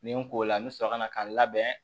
Nin ko la n bɛ sɔrɔ ka na ka n labɛn